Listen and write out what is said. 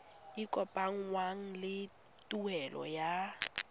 e kopanngwang le tuelo ya